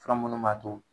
Fura minnu b'a to